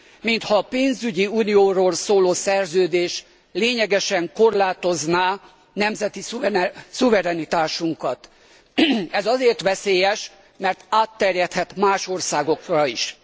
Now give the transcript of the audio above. Mintha a pénzügyi unióról szóló szerződés lényegesen korlátozná nemzeti szuverenitásunkat. Ez azért veszélyes, mert átterjedhet más országokra is.